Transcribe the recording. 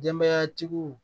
Denbayatigiw